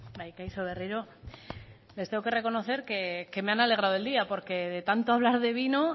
bai kaixo berriro les tengo que reconocer que me han alegrado el día porque de tanto hablar de vino